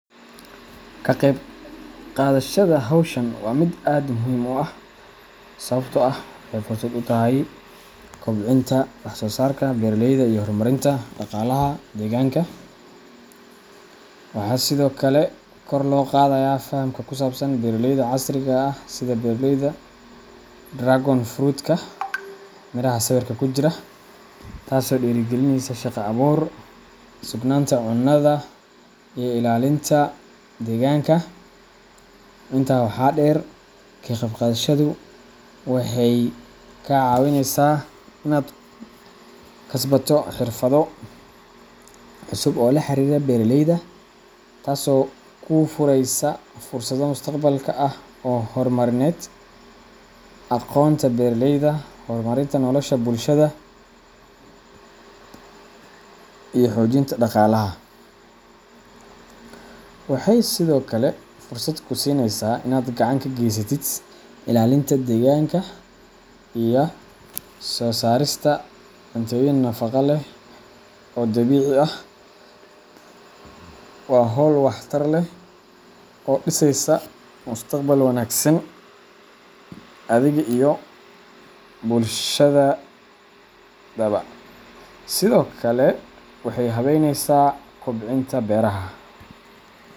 Ka qaybqaadashada hawshan waa mid aad muhiim u ah sababtoo ah waxay fursad u tahay kobcinta wax-soosaarka beeralayda iyo horumarinta dhaqaalaha deegaanka. Waxaa sidoo kale kor loo qaadaa fahamka ku saabsan beeraleyda casriga ah sida beeralayda dragon fruitka miraha sawirka ku jira, taasoo dhiirigelisa shaqo-abuur, sugnaanta cunnada, iyo ilaalinta deegaanka. Intaa waxaa dheer, ka qaybqaadashadu waxay kaa caawineysaa inaad kasbato xirfado cusub oo la xiriira beeralayda, taasoo kuu fureysa fursado mustaqbalka ah oo horumarineed. Aqoonta beeralayda, horumarinta nolosha bulshada, iyo xoojinta dhaqaalaha. Waxay sidoo kale fursad kuu siineysaa inaad gacan ka geysatid ilaalinta deegaanka iyo soo saarista cuntooyin nafaqo leh oo dabiici ah. Waa hawl wax-tar leh oo dhisaysa mustaqbal wanaagsan adiga iyo bulshadaba. Sidokale waxey habeynesa, kobcinta beraha.